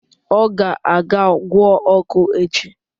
Ọ ga-aga gwọọ ọkụ echi